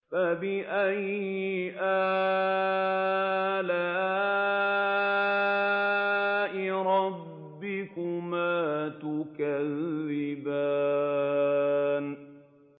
فَبِأَيِّ آلَاءِ رَبِّكُمَا تُكَذِّبَانِ